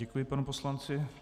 Děkuji panu poslanci.